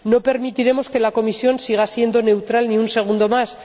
No permitiremos que la Comisión siga siendo neutral ni un segundo más.